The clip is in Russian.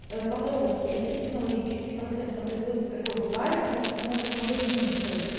ээ потрогать это технологический процесс на производстве такое бывает и пусть посмотрит магазинную соду